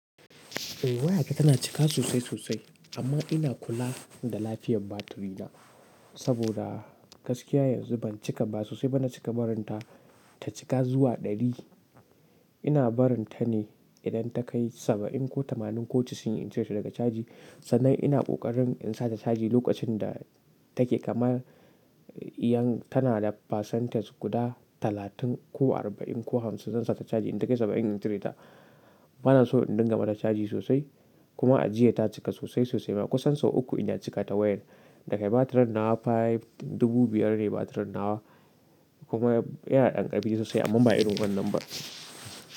Eh waya ta tana cika sosai sosai amma ina kula da lafiyar batirina saboda gaskiya yanzu ban cika ba sosai bana cika barin ta ta cika zuwa ɗari. Ina barin ta ne idan ta kai saba'in ko tamanin ko casa'in in cire ta daga caji sannan ina ƙoƙarin in sa ta caji lokacin da take kamar iyan tana da pasentes guda talatin ko arba'in ko hamsin zan sa ta caji idan take saba'in in cire ta. Bana so in dinga mata caji sosai kuma a jiya ta cika sosai sosai ma kusan sau uku inda cika ta wayar da kai batirn nawa five dubu biyar ne batirn nawa kuma ya iya ɗan ƙarfi sosai amma ba irin wannan ba.